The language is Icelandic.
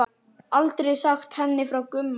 Aldrei sagt henni frá Gumma.